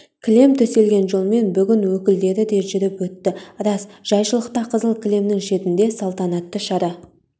кілем төселген жолмен бүгін өкілдері де жүріп өтті рас жайшылықта қызыл кілемнің шетінде салтанатты шара